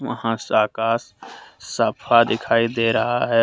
वहां से आकाश सफा दिखाई दे रहा है।